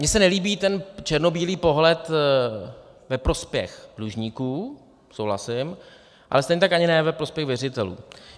Mně se nelíbí ten černobílý pohled ve prospěch dlužníků, souhlasím, ale stejně tak ani ne ve prospěch věřitelů.